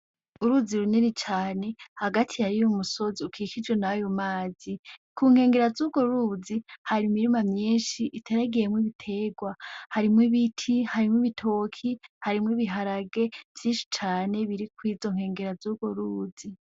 Uruzi runini cane hagati hariyo umusozi ukikijwe n’ayo mazi. Ku nkengera z’urwo ruzi, hari imirima myinshi iteragiyemwo ibiterwa. Harimwo ibiti, harimwo ibitoke, harimwo ibiharage vyinshi cane biri kuri izo nkengera z’urwo ruzi.